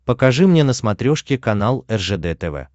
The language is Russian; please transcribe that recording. покажи мне на смотрешке канал ржд тв